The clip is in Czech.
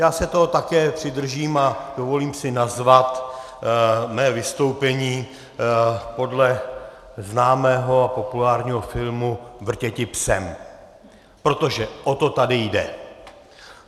Já se toho také přidržím a dovolím si nazvat mé vystoupení podle známého a populárního filmu Vrtěti psem, protože o to tady jde.